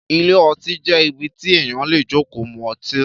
Ìlé õtí jé ìbí tí èyan lé jòkò mú õtí